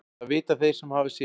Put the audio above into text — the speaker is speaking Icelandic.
Það vita þeir sem hafa séð.